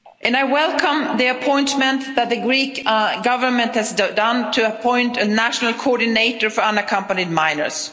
I welcome the appointment that the Greek Government has done to appoint a national coordinator for unaccompanied minors.